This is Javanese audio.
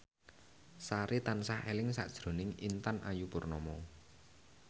Sari tansah eling sakjroning Intan Ayu Purnama